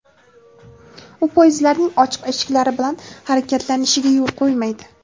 u poyezdlarning ochiq eshiklari bilan harakatlanishiga yo‘l qo‘ymaydi.